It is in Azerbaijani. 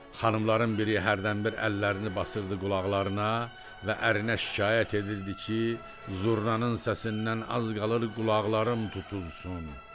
Xanımların biri hərdən bir əllərini basırdı qulaqlarına və ərinə şikayət edirdi ki, zurnanın səsindən az qalır qulaqlarım tutulsun.